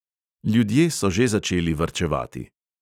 Ljudje so že začeli varčevati.